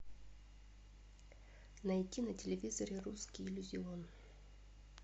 найти на телевизоре русский иллюзион